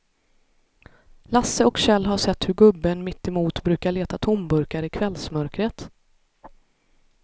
Lasse och Kjell har sett hur gubben mittemot brukar leta tomburkar i kvällsmörkret.